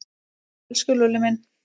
Elsku Lúlli minn.